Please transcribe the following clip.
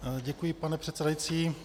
Děkuji, pane předsedající.